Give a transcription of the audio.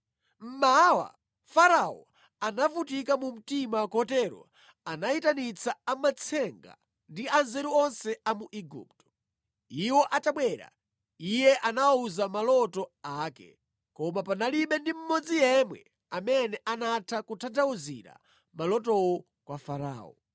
Mmawa, Farao anavutika mu mtima kotero anayitanitsa amatsenga ndi anzeru onse a mu Igupto. Iwo atabwera, iye anawawuza maloto ake, koma panalibe ndi mmodzi yemwe amene anatha kutanthauzira malotowo kwa Farao.